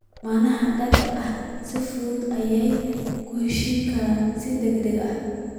Lammaanaha da'da ah si fudud ayay u heshiin karaan si degdeg ah.